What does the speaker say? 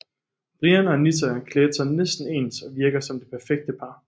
Brian og Anita klædte sig næsten ens og virkede som det perfekte par